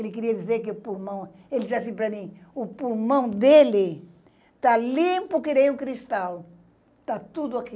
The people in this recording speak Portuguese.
Ele queria dizer que o pulmão, ele disse assim para mim, o pulmão dele está limpo que nem um cristal, está tudo aqui.